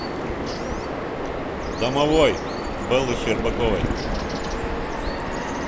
домовой бэллы щербаковой